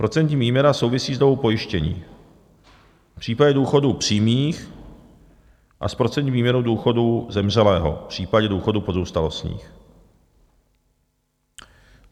Procentní výměna souvisí s dobou pojištění v případě důchodů přímých a s procentní výměrou důchodů zemřelého v případě důchodů pozůstalostních.